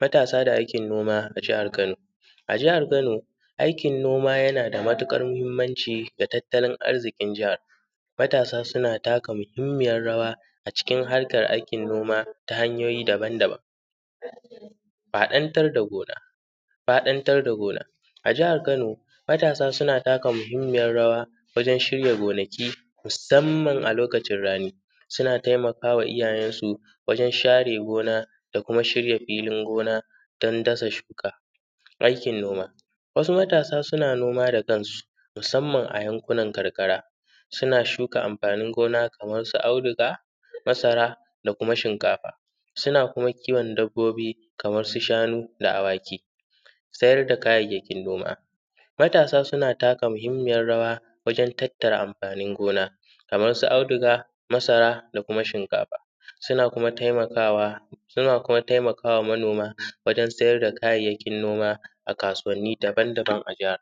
Matasa da aikin noma a jahan Kano. A jahar Kano aikin noma yana da matuƙar mahinmaci da tattalin arzikin jahar, matasa suna taka muhinmiyar rawa a cikin harkan noma ta hanyoyi daban-daban. Faɗan tar da gona, faɗan tar da gona a jahar Kano. Matasa suna taka muhinmiyar rawa wajen shirya gonaki musamman a lokacin rani, suna taimaka wa iyayensu wajen share gona da kuma shirin filin gona dundasa shuka, aikin noma wasu matasa suna noma da kansu musamman a yankunan karkara; suna shuka amfani gona kamar su audiga, masara da kuma shinkafa suna kuma kiwo dabbobi kamar su shanu, da awaki. Sayar da kayayyakin noma, matasa suna taka muhinmaiyar rawa wajen tattara amfanin gona kamar su audiga, masara da kuma shinkafa suna kuma taimkawa, suna kuma taimakwa manoma wajen siyar da kayyaykin noma a kasuwanni daban-daban. A jahar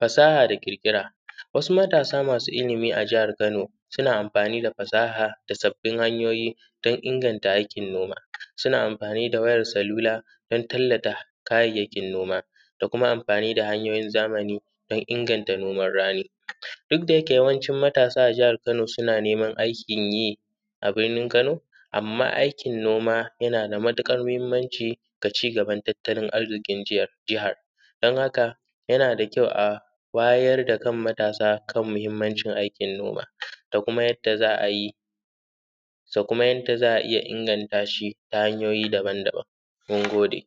fasaha da ƙirƙira wasu matasa masu ilimi a jahar Kano suna amfani da fasahar wajen sabbin hanyoyin don ingata aikin noma, suna amfani da wayar salula don tallta kayan amfanin gona da kuma amfani da kayan zamani don inganta noman rani duk da yake duk matasa na jahar Kano suna neman aikin yi a binni Kano. Amma aikin noma yana da matuƙar mahinmanci da cigaba da tattalin arzikin jagar, don haka yana da kyau a wayar da kan matasa kan muhinmancin aikin noma da kuma yadda za a yi da kuma yadda za a inganta shi ta hanyoyi daban daban. Mun gode.